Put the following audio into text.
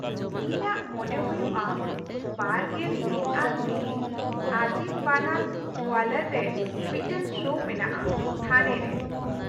-ᱤᱧᱟᱹᱜ ᱢᱚᱱᱮ ᱦᱩᱭᱩᱜᱼᱟ ᱒᱑ ᱟᱱ ᱢᱮ ᱟᱡᱤᱢ ᱵᱟᱱᱟᱛ ᱳᱣᱟᱞᱟᱨ ᱨᱮ ᱢᱤᱫᱴᱟᱝ ᱥᱳ ᱢᱮᱱᱟᱜᱼᱟ ᱛᱷᱟᱱᱮ ᱨᱮ ᱾